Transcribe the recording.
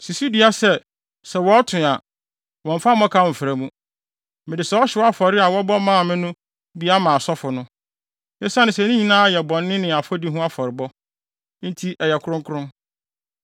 Si so dua sɛ, sɛ wɔto a, wɔmmfa mmɔkaw mmfra mu. Mede saa ɔhyew afɔre a wɔbɔ maa me no bi ama asɔfo no. Esiane sɛ ne nyinaa yɛ bɔne ne afɔdi ho afɔrebɔ, nti ɛyɛ kronkron.